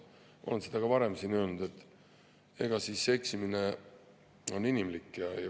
Ma olen seda ka varem siin öelnud, et eksimine on inimlik.